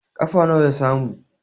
kafa nawa ya samu?